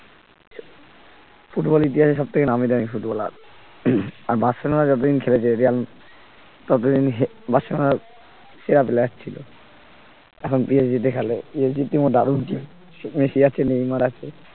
ফুটবলর ইতিহাসে সবথেকে নামিদামি ফুটবলার যতদিন খেলেছে ততদিন সেরা player ছিল এখন PSG তে খেলে PSG এর team ও দারুন team সেখানে আছে নেইমার আছে